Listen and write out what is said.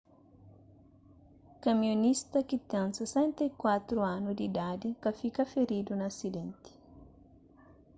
kamionista ki ten 64 anu di idadi ka fika firidu na asidenti